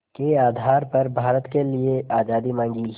के आधार पर भारत के लिए आज़ादी मांगी